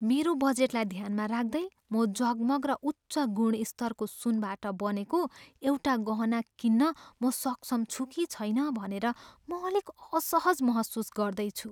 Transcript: मेरो बजेटलाई ध्यानमा राख्दै, म जगमग र उच्च गुणस्तरको सुनबाट बनेको एउटा गहना किन्न म सक्षम छु कि छैन भनेर म अलिक असहज महसुस गर्दैछु।